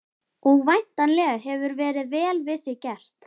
Og væntanlega hefur verið vel við þig gert?